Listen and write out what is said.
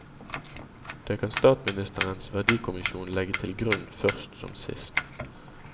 Det kan statsministerens verdikommisjon legge til grunn først som sist.